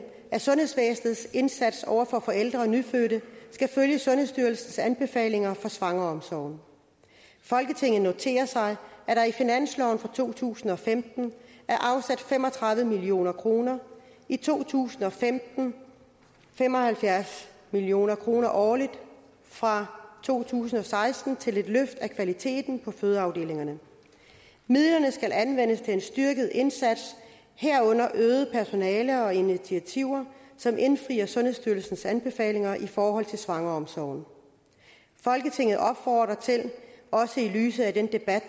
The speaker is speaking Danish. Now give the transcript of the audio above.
at sundhedsvæsenets indsats over for forældre og nyfødte skal følge sundhedsstyrelsens anbefalinger for svangreomsorgen folketinget noterer sig at der i finansloven for to tusind og femten er afsat fem og tredive million kroner i to tusind og femten og fem og halvfjerds million kroner årligt fra to tusind og seksten til et løft af kvaliteten på fødeafdelingerne midlerne skal anvendes til en styrket indsats herunder øget personale og initiativer som indfrier sundhedsstyrelsens anbefalinger i forhold til svangreomsorg folketinget opfordrer til også i lyset af den debat